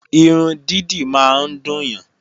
Irun dídì máa ń dùn yàn